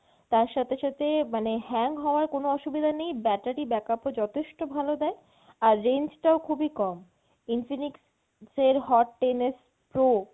তার সাথে সাথে মানে hang হওয়া কোনো অসুবিধা নেই battery backup ও যথেষ্ট ভালো দেয় আর range টাও খুবই কম। Infinix J hot ten X pro